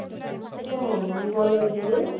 ଇଏ କଣ ମନକୁ call ଆଉଛି କିରେ?